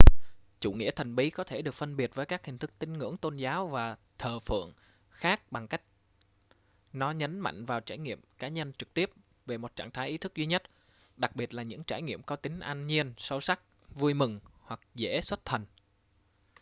chủ nghĩa thần bí có thể được phân biệt với các hình thức tín ngưỡng tôn giáo và thờ phượng khác bằng cách nó nhấn mạnh vào trải nghiệm cá nhân trực tiếp về một trạng thái ý thức duy nhất đặc biệt là những trải nghiệm có đặc tính an nhiên sâu sắc vui mừng hoặc dễ xuất thần